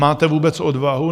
Máte vůbec odvahu?